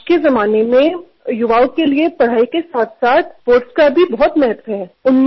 आजच्या काळातल्या युवकांसाठी शिक्षणाबरोबरच क्रीडा क्षेत्राचंही मोठं महत्त्व आहे